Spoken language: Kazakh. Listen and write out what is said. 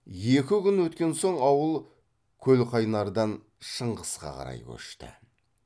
екі күн өткен соң ауыл көлқайнардан шыңғысқа қарай көшті